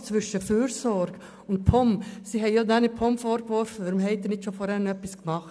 Sie haben ja der POM vorgeworfen, dass sie nicht schon vorher etwas unternommen hat.